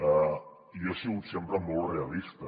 jo he sigut sempre molt realista